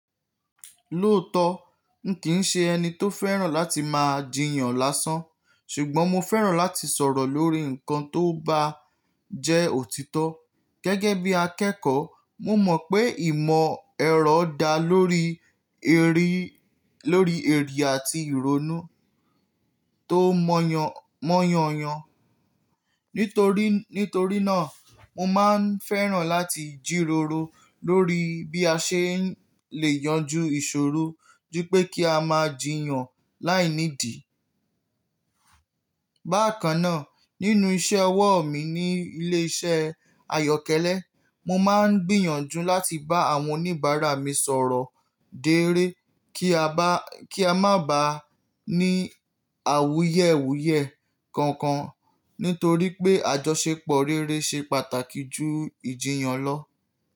Lóòótọ, n kì í ṣe ẹni tó fẹ́ràn láti máa jiyàn lásán, ṣùgbọ́n mo fẹ́ràn láti sọ̀rọ̀ lórí nǹkan tó bá jẹ́ òtítọ́. Gẹ́gẹ́ bí akẹ́kọ̀ọ́, mo mọ̀ pé ìmọ̀ ẹ̀rọ dá lórí erí, lórí èrì àti ìrònú tó mọ́yàn, mọ́yànyán. Nítorí, nítorí náà, mo máa ń fẹ́ràn láti jíróró lórí bí a ṣe lè yanjú ìṣòro ju pé kí a máa jiyàn láìnídì. Bákan náà, nínú iṣẹ́ ọwọ́ mi ní ilé iṣẹ́ àyọ́kẹ́lẹ́, mo máa ń gbìyànjú láti bá àwọn oníbàárà mi sọ̀rọ̀ déré kí a bá, kí a má bá ní àwúyẹ̀wúyẹ̀ kankan nítorí pé àjọṣepọ̀ rere ṣe pàtàkì ju ìjiyàn lọ.